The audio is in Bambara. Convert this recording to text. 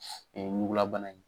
Ɛɛ ɲugulabana in ye